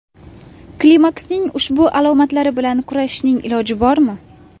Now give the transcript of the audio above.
Klimaksning ushbu alomatlari bilan kurashishning iloji bormi ?